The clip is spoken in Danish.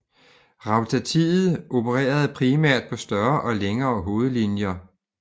Rautatiet opererede primært på større og længere hovedlinjer